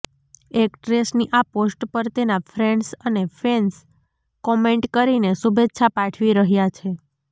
એક્ટ્રેસની આ પોસ્ટ પર તેના ફ્રેન્ડ્સ અને ફેન્સ કોમેન્ટ કરીને શુભેચ્છા પાઠવી રહ્યા છે